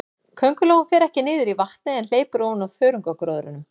Köngulóin fer ekki niður í vatnið, en hleypur ofan á þörungagróðrinum.